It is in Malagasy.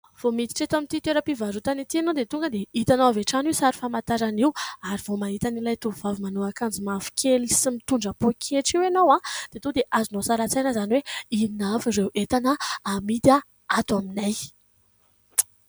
Vao miditra eto amin'ity toeram-pivarotana ity ianao dia tonga dia hitanao avy hatrany io sary famantarana io ary vao mahita na ilay tovovavy manao akanjo mavokely sy mitondra poketra io ianao dia tonga dia azonao sary an-tsaina izany hoe inona avy ireo entana amidy ato aminay ?